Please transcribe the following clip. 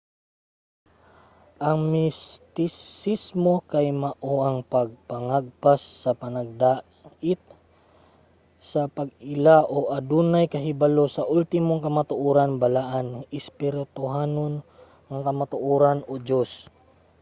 ang mistisismo kay mao ang pagpangagpas sa panagdait sa pag-ila sa o adunay kahibalo sa ultimong kamatuoran balaan espirituhanon nga kamatuoran o diyos